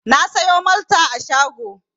Na sayo Malta a shago.